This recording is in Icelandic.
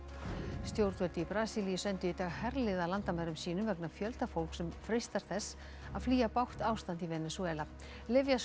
stjórnvöld í Brasilíu sendu í dag herlið að landamærum sínum vegna fjölda fólks sem freistar þess að flýja bágt ástand í Venesúela